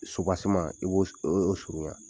, i b'o s oo surunya.